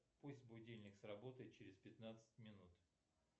пусть будильник сработает через пятнадцать минут